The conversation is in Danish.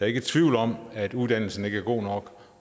ikke i tvivl om at uddannelsen ikke er god nok